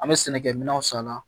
An bɛ sɛnɛkɛminɛnw san a la